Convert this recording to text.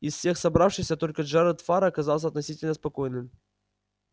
из всех собравшихся только джеред фара оказался относительно спокойным